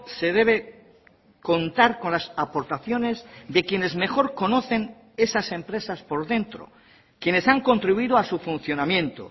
se debe contar con las aportaciones de quienes mejor conocen esas empresas por dentro quienes han contribuido a su funcionamiento